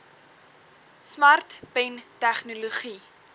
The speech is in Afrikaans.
smart pen tegnologie